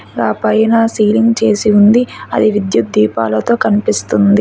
ఆ పైన సీలింగ్ చేసి ఉంది. అది విద్యుత్ దీపాలతో కనిపిస్తుంది.